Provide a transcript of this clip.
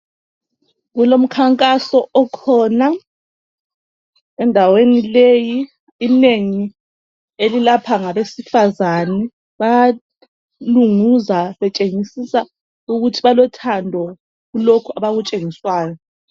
Kulomkhankaso okhona endaweni leyi ,inengi elilapha ngabesifazani. Bayalunguza betshengisisa ukuthi balothando kulokhu abakutshengiswayo.